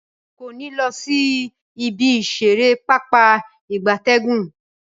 Rara, nko ni lo si ibi isere Pápá ìgbatẹ́gùn.